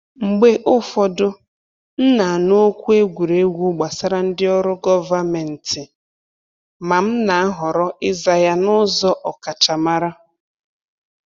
Mgbe ụfọdụ, m na-anụ okwu egwuregwu gbasara ndị ọrụ gọvanmentị, ma m na-ahọrọ ịza ya n’ụzọ ọkachamara.